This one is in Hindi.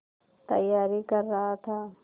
तैयारी कर रहा था